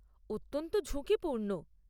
অত্যন্ত ঝুঁকিপূর্ণ।